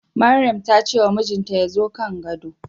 Maryam ta ce wa mijinta ya zo kan gado